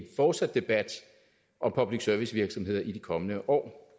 fortsat debat om public service virksomheder i de kommende år